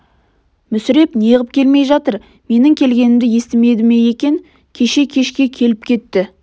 мүсіреп неғып келмей жатыр менің келгенімді естімеді ме екен кеше кешке келіп кетті